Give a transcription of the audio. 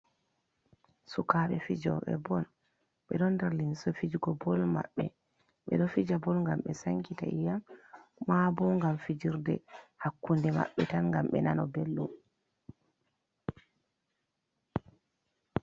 Sukabe fijo6e ball, be do nder limse fijigo ball mabbe. Be do fija ball ngam be sankita iyam, mabo ngam fijirde hakku'nde maɓɓe tan ngam be nana beldum.